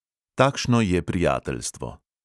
Takšno je prijateljstvo.